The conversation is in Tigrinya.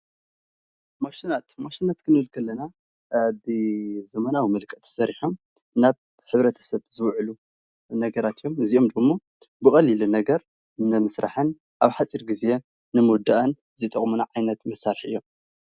ማሽናት፥- ማሽናት ኽንብል ከለና ብዘመናዊ መልክዕ ተሰሪሖም ናብ ሕብረተሰብ ዝውዕሉ ነገራት እዪም። እዚኦም ድማ ብቀሊሉን ኣብ ሓፂር ግዜን ንምውዳእ ይጠቁሙና።